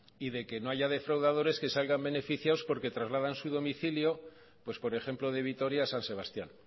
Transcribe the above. y de que no haya defraudadores que salgan beneficiados porque trasladan su beneficio pues por ejemplo de vitoria a san sebastián